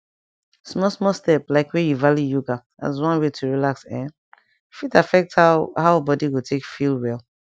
small small step like wey you value yoga as one way to relax[um]fit affect how how body go take feel well